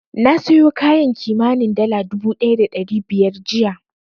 Na sayo kayan kimanin dala dubu ɗaya da ɗari biyar jiya.